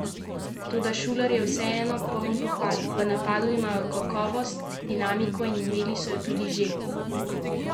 Toda Šuler je vseeno poln pohval: "V napadu imajo kakovost, dinamiko, imelo so jo tudi že prej.